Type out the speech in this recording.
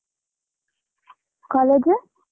College.